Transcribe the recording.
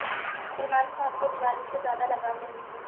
सलमान खान को दीवाली से ज़्यादा लगाव नहीं है